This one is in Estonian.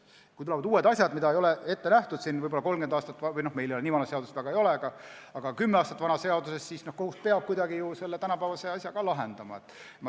Kui tulevad uued asjad, mida ei nähtud võib-olla 30 aastat tagasi ette , siis kohus peab kuidagi ju selle tänapäevase asja lahendama.